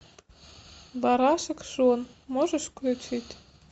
барашек шон можешь включить